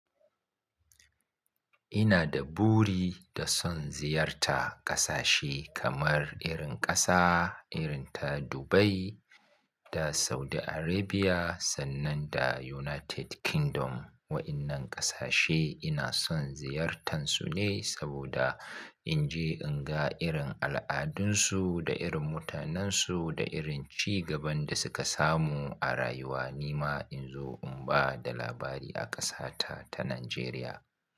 Ina da buri da son ziyarta ƙasashe kamar irin ƙasa irin ta Dubai da Saudi Arabia sannan da United Kingdom. Waɗannan ƙasashe ina son ziyartansu ne saboda in je in ga irin al'adunsu da irin mutanensu da irin ci gaban da suka samu a rayuwa. Ni ma in zo in ba da labari a ƙasa ta ta Najeriya.